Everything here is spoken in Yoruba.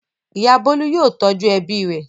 Ìyá Bólú yóò tọ́jú ẹbí rẹ̀.